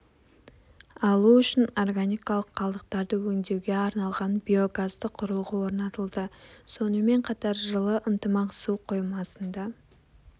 алу үшін органикалық қалдықтарды өндеуге арналған биогазды құрылғы орнатылды сонымен қатар жылы ынтымақ су қоймасында